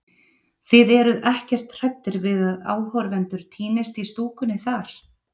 Þið eruð ekkert hræddir við að áhorfendur týnist í stúkunni þar?